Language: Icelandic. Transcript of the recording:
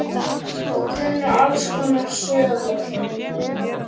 Þú kunnir alls konar sögur.